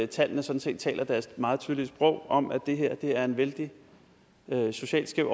tallene sådan set taler deres meget tydelige sprog om at det her er er vældig socialt skævt